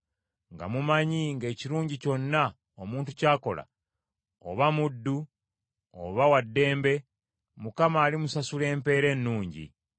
nga mumanyi ng’ekirungi kyonna omuntu ky’akola, oba muddu oba wa ddembe, Mukama alimusasula empeera ennungi.